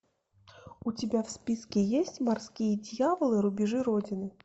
у тебя в списке есть морские дьяволы рубежи родины